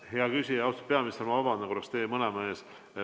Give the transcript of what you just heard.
Hea küsija ja austatud peaminister, ma vabandan korraks teie mõlema ees.